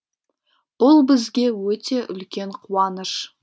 бұл бізге өте үлкен қуаныш